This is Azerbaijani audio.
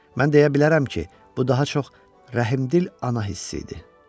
Mən deyə bilərəm ki, bu daha çox rəhimdil ana hissi idi.